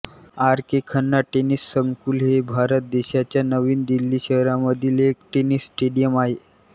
R K Khanna tennis संकुल हे भारत देशाच्या नवी दिल्ली शहरामधील एक टेनिस स्टेडियम आहे